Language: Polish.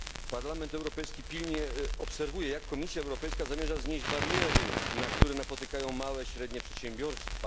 Parlament Europejski pilnie obserwuje, jak Komisja Europejska zamierza znieść bariery, na które napotykają małe i średnie przedsiębiorstwa.